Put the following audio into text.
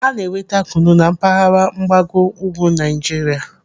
Ana-enweta kunu na mpaghara mgbago ugwu Naijiria.